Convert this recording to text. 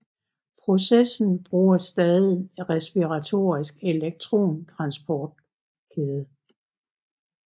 Processen bruger stadig en respiratorisk elektron transportkæde